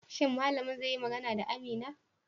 Shin malamin zai yi magana da Amina?